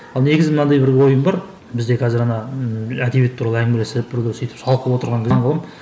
ал негізі мынандай бір ойым бар бізде қазір ана ыыы әдебиет туралы әңгімелесіп бір күні сөйтіп шалқып отырған кезім болған